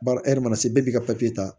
Baara e yɛrɛ mana se bɛɛ b'i ka papiye ta